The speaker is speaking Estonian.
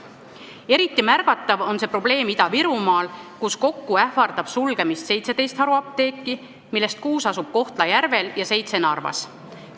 Eriti märgatav on see probleem Ida-Virumaal, kus kokku ähvardab sulgemine 17 haruapteeki, millest kuus asub Kohtla-Järvel ja seitse Narvas.